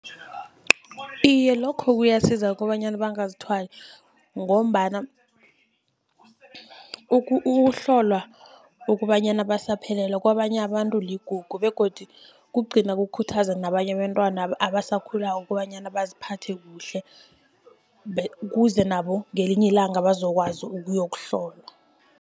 Iye, lokho kuyasiza kobanyana bangazithwali, ngombana ukuhlolwa ukobanyana basaphelele kabanye abantu ligugu., begodi kugcina kukhuthaza nabanye abentwana abasakhulako, kobanyana baziphathe kuhle ukuze nabo ngelinye ilanga bazokwazi ukuyokuhlolwa.